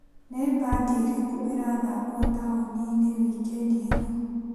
Nĩ mbandi irĩkũ irathakwo taũni-inĩ wikendi ĩno ?